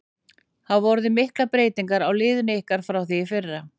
Hafa orðið miklar breytingar á liðinu ykkar frá því í fyrra?